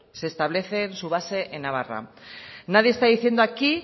se establecen su base en navarra nadie está diciendo aquí